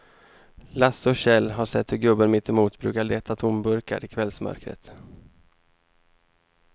Lasse och Kjell har sett hur gubben mittemot brukar leta tomburkar i kvällsmörkret.